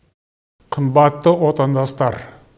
қымбатты отандастар